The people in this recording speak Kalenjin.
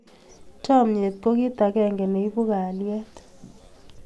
Chamnyet ko kit akenge ne ibu kalyet